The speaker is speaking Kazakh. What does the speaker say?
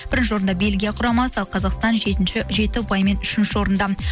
бірінші орында бельгия құрамасы ал қазақстан жетінші жеті ұпаймен үшінші орында